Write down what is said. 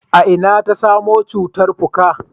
a ina ta samo cutan fuka?